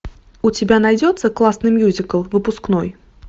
у тебя найдется классный мюзикл выпускной